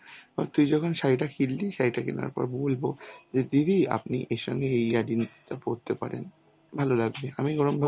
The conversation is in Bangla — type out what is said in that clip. তুই যখন শাড়িটা কিনলি শাড়িটা কেনার পর বলব যে দিদি আপনি এর সাথে এই earring টা পড়তে পারেন, ভালো লাগবে.